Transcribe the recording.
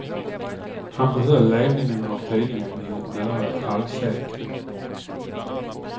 Han behöll ledningen av tidningen i nära ett halvsekel.